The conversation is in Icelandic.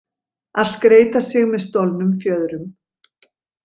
Að skreyta sig með stolnum fjöðrum